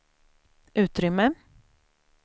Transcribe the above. utrymme